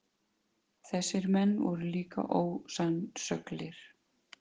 Þessir menn voru líka ósannsöglir.